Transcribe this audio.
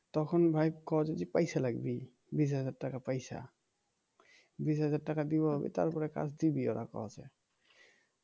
তখন ভাই কয় যে কি পয়সা লাগবে বিশ হাজার টাকা পয়সা বিশ হাজার টাকা দিবো তারপরে কাজ দিবি ওরা কইছে